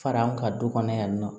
Fara an ka du kɔnɔ yan nɔ